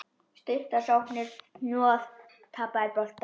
Stuttar sóknir, hnoð, tapaðir boltar.